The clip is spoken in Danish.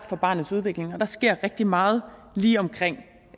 for barnets udvikling og der sker rigtig meget lige omkring